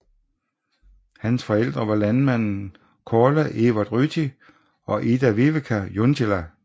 Hans forældre var landmanden Kaarle Evert Ryti og Ida Vivika Junttila